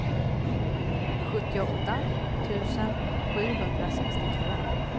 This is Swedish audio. sjuttioåtta tusen sjuhundrasextiotvå